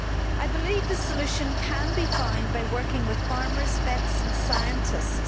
I believe the solution can be found by working with farmers, vets and scientists.